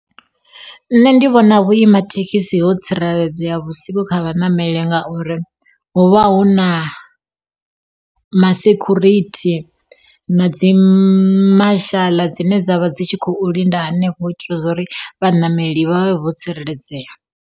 Nṋe ndi vhona vhuima thekhisi ho tsireledzea vhusiku kha vhaṋameli ngauri, hu vha huna ma sekhurithi na dzi mashaḽa dzine dzavha dzi tshi khou linda hanefho u itela uri vhaṋameli vha vhe vho tsireledzea.